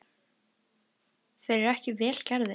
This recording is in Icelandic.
Þeir eru ekki vel gerðir.